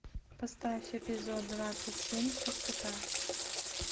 поставь эпизод двадцать семь чистота